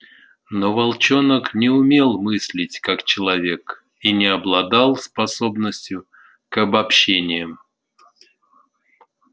но волчонок не умел мыслить как человек и не обладал способностью к обобщениям